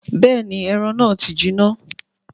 Bẹ́ẹ̀ni, ẹran náà ti jiná.